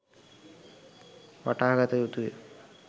වටහාගත යුතුය.